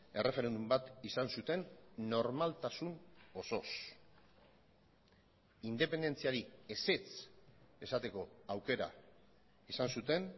erreferendum bat izan zuten normaltasun osoz independentziari ezetz esateko aukera izan zuten